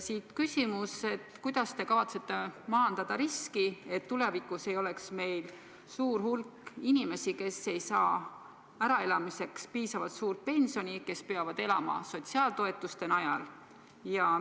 Siit küsimus: kuidas te kavatsete maandada riski, et tulevikus ei oleks meil suurt hulka inimesi, kes ei saa äraelamiseks piisavalt suurt pensioni ja kes peavad elama sotsiaaltoetuste najal?